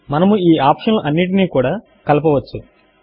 మనము ఈ ఆప్షన్లు అన్నిటినీ కూడా కలపవచ్చు